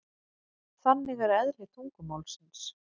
Þannig er eðli tungumálsins.